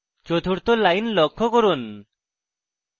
চতুর্থ line লক্ষ্য করুন